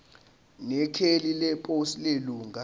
nekheli leposi lelunga